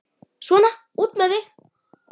Svona, út með þig!